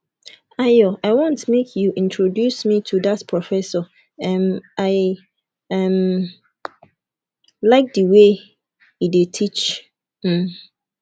ayo i want make you introduce me to dat professor um i um like the way he dey teach um